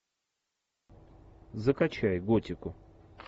закачай готику